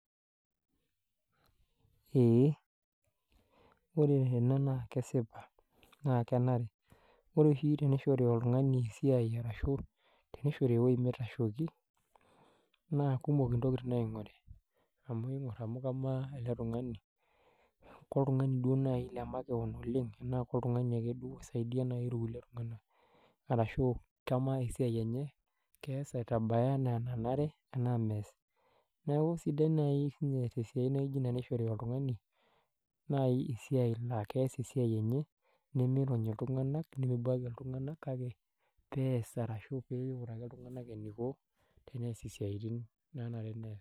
Eeh wore ena naa kesipa naa kenare. Wore oshi tenishori oltungani esiai arashu tenishori ewoji mitashoki, naa kumok intokitin naingori amu ingor amuu kamaa ele tungani, koltungani duo naaji lemakewon oleng' enaa koltungani ake duo oisaidia ake naaji kulie tunganak, arashu kamaa esiai enye, keas aitabaya enaa enenare enaa meas. Neeku sidai nai sinye tesiai naaijo inia nishori oltungani naai esiai naa keas esiai enye nemiirony iltunganak, nemebuaki iltunganak, kake peas arashu pee inguraki iltunganak eniko teneas isiatin naanare neas.